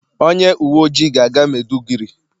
onye uwe ojii ga-aga maiduguri.